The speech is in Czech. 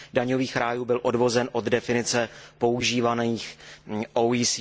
daňových rájů byl odvozen od definice používané OECD.